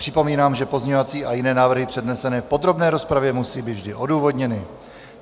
Připomínám, že pozměňovací a jiné návrhy přednesené v podrobné rozpravě musí být vždy odůvodněny.